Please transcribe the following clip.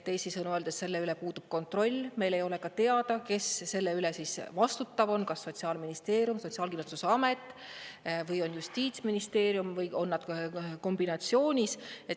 Teisisõnu öeldes selle üle puudub kontroll, meil ei ole ka teada, kes selle eest vastutav on: kas Sotsiaalministeerium, Sotsiaalkindlustusamet või on Justiitsministeerium või on nad kombinatsioonis.